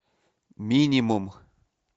минимум